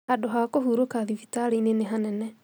Handũha kũhurũka thibitarĩinĩ nĩ hanene